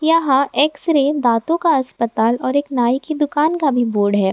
यहां X ray दांतों का अस्पताल और एक नई की दुकान का भी बोर्ड है।